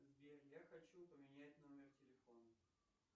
сбер я хочу поменять номер телефона